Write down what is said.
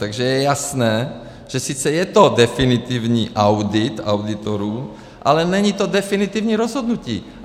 Takže je jasné, že sice je to definitivní audit auditorů, ale není to definitivní rozhodnutí.